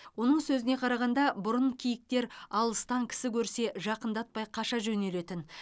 оның сөзіне қарағанда бұрын киіктер алыстан кісі көрсе жақындатпай қаша жөнелетін